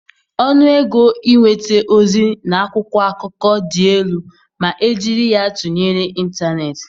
Ọnụ ego ịnweta ozi na akwụkwọ akụkọ dị elu ma e jiri ya tụnyere ịntanetị.